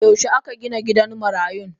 Yaushe akagina gidan marayun.?